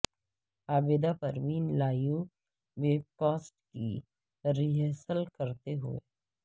Abida Parveen live webcast کی rehearsal کرتے ہوئے